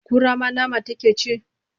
Kura ma nama take ci?